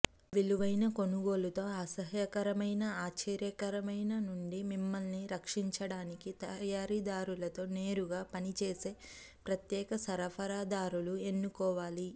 విలువైన కొనుగోలు తో అసహ్యకరమైన ఆశ్చర్యకరమైన నుండి మిమ్మల్ని రక్షించడానికి తయారీదారులతో నేరుగా పని చేసే ప్రత్యేక సరఫరాదారులు ఎన్నుకోవాలి